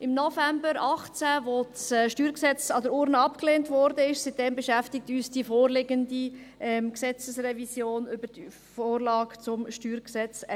Seit November 2018, als das StG an der Urne abgelehnt wurde, beschäftigt uns die vorliegende Gesetzesrevision über die Vorlage zum StG 2021.